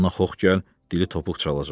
ona xof gəl, dili topuq çalacaq.